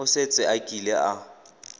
o setse a kile a